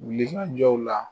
Wulli ka jɔw la